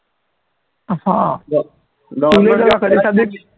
असा बघ